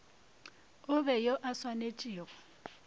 e be yo a tsenetšego